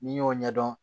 N'i y'o ɲɛdɔn